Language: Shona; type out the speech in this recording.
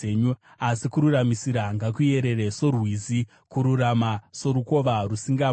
Asi kururamisira ngakuyerere sorwizi, kururama sorukova rusingapwi!